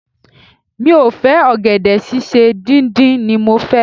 Mi ò fẹ́ ọ̀gẹ̀dẹ̀ sísè, díndín ni mo fẹ́.